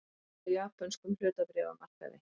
Hrun á japönskum hlutabréfamarkaði